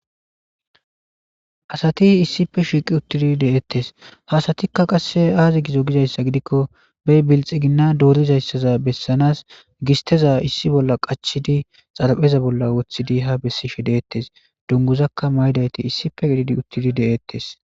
Asati issippe shiiqi utid de'etes, ha asatika qase azi gizo gizaysa gidikon be bilxigina dorizaysaza besanas gisteza qachid xarapheza bolla wothidi ha besishe de'etes, dunguzaka mayidayt issippe gidid utid de'etes.